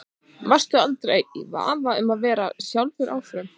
Varstu aldrei í vafa um að vera sjálfur áfram?